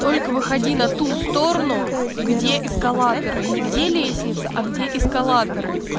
только выходи на ту сторону где эскалаторы не где лестница а где эскалаторы